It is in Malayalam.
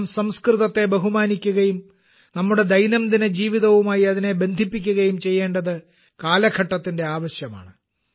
നാം സംസ്കൃതത്തെ ബഹുമാനിക്കുകയും നമ്മുടെ ദൈനംദിന ജീവിതവുമായി അതിനെ ബന്ധിപ്പിക്കുകയും ചെയ്യേണ്ടത് കാലഘട്ടത്തിന്റെ ആവശ്യമാണ്